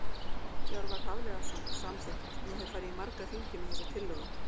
Hjörvar Hafliðason- Samþykkt Ég hef farið í marga hringi með þessa tillögu.